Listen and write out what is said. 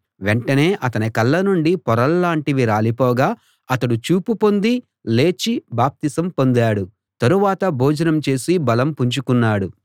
వెంటనే అతని కళ్ళ నుండి పొరల్లాంటివి రాలిపోగా అతడు చూపు పొంది లేచి బాప్తిసం పొందాడు తరువాత భోజనం చేసి బలం పుంజుకున్నాడు